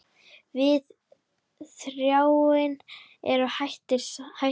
Við Þráinn eru hætt saman.